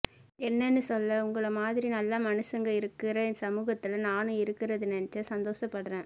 என்னன்னு சொல்ல உங்கள மாதிரி நல்ல மனுசங்க இருக்குறே சமூகத்துலே நானும் இருக்குறத நினைச்சு சந்தோசப்படுறேன்